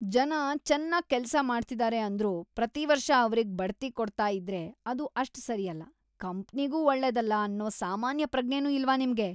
ಜನ ಚೆನ್ನಾಗ್‌ ಕೆಲ್ಸ ಮಾಡ್ತಿದಾರೆ ಅಂದ್ರೂ ಪ್ರತೀವರ್ಷ ಅವ್ರಿಗ್‌ ಬಡ್ತಿ ಕೊಡ್ತಾ ಇದ್ರೆ ಅದು ಅಷ್ಟ್‌ ಸರಿಯಲ್ಲ‌, ಕಂಪ್ನಿಗೂ ಒಳ್ಳೇದಲ್ಲ ಅನ್ನೋ ಸಾಮಾನ್ಯ ಪ್ರಜ್ಞೆನೂ ಇಲ್ವಾ ನಿಮ್ಗೆ?!